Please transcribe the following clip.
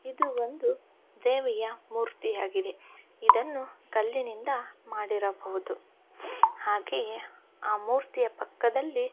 ಇದು ಒಂದು ದೇವಿಯ ಮೂರ್ತಿಯಾಗಿದೆ ಇದನ್ನು ಕಲ್ಲಿನಿಂದ ಮಾಡಿರಬಹುದು ಹಾಗೆಯೇ ಆ ಮೂರ್ತಿಯ ಪಕ್ಕದ್ದಲ್ಲಿ --